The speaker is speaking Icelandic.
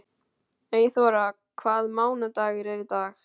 Eyþóra, hvaða mánaðardagur er í dag?